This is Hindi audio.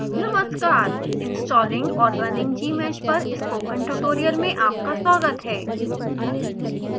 नमस्कार installing और running gmsh पर स्पोकन ट्यूटोरियल में आपका स्वागत है